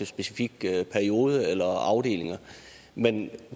specifikke perioder eller afdelinger men